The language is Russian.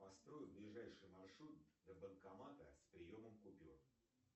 построй ближайший маршрут до банкомата с приемом купюр